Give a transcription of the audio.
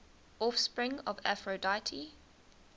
offspring of aphrodite